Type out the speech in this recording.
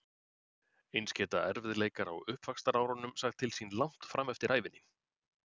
Eins geta erfiðleikar á uppvaxtarárum sagt til sín langt fram eftir ævinni.